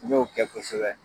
N y'o kɛ kosɛbɛ